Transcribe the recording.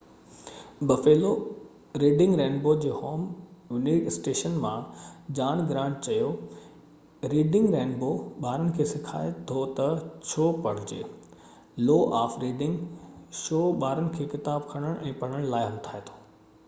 wned Buffalo Reading Rainbow جي home station مان John Grant چيو ريڊنگ رينبو ٻارن کي سکائي ٿو تہ ڇو پڙهجي،... لو آف ريڊنگ — شو ٻارن کي ڪتاب کڻڻ ۽ پڙهڻ لاءِ همٿائي ٿو.